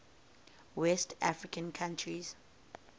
west african countries